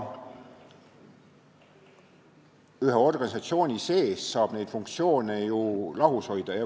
Ühe organisatsiooni sees saab neid funktsioone ju lahus hoida.